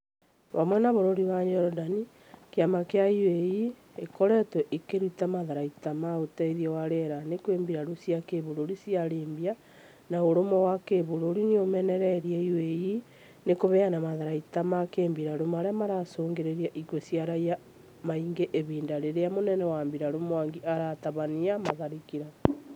Hamwe na bũrũri wa Jordan, kĩama gia UAE ĩkoretwo ĩkĩruta matharaita ma ũteithio wa rĩera-inĩ kwĩ mbirarũ cia kĩbũrũri cia Libya, na ũrũmwe wa kũbũrũri nĩũmenereirie UAE nĩ kũheana matharaita ma kĩmbirarũ marĩa maracũngĩrĩria ikuũ cia raia aingĩ ihinda rirĩa mũnene wa mbirarũ Mwangi aratabania matharĩkĩra